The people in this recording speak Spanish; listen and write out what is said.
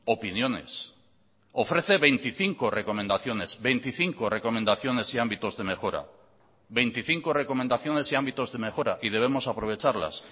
opiniones ofrece veinticinco recomendaciones veinticinco recomendaciones y ámbitos de mejora veinticinco recomendaciones y ámbitos de mejora y debemos aprovecharlas